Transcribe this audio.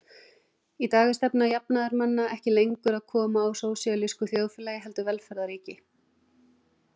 Í dag er stefna jafnaðarmanna ekki lengur að koma á sósíalísku þjóðfélagi heldur velferðarríki.